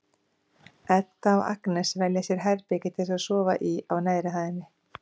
Edda og Agnes velja sér herbergi til að sofa í á neðri hæðinni.